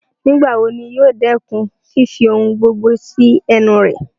Nigbawo ni yoo dẹkun fifi ohun gbogbo si ẹnu rẹ?